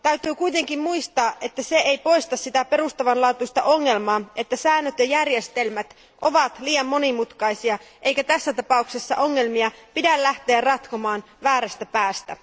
Täytyy kuitenkin muistaa, että se ei poista sitä perustavanlaatuista ongelmaa, että säännöt ja järjestelmät ovat liian monimutkaisia, eikä tässä tapauksessa ongelmia pidä lähteä ratkomaan väärästä päästä.